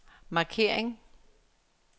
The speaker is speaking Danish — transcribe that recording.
markering